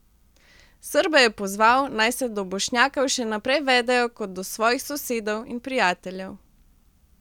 Srbe je pozval, naj se do Bošnjakov še naprej vedejo kot do svojih sosedov in prijateljev.